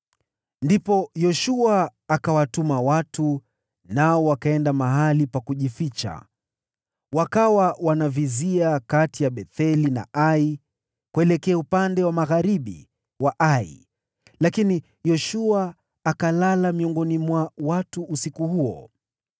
Ndipo Yoshua akawatuma watu, nao wakaenda mahali pa kujificha, wakawa wanavizia kati ya Betheli na Ai, kuelekea upande wa magharibi wa Ai, lakini Yoshua akalala miongoni mwa watu usiku huo.